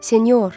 Senyor!